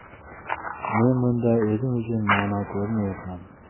Men bunda o‘zim uchun ma’no ko‘rmayapman.